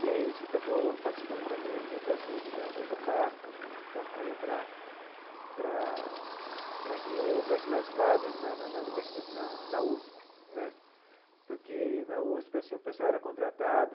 E aí a gente acabou participando também das lutas da da da EDUCAFRO, na campanha para para para que houvesse mais vagas na na na universi na na USP né, porque, na USP assim, o pessoal era contratado,